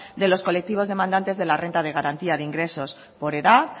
de los colectivos demandantes de la renta de garantía de ingresos por edad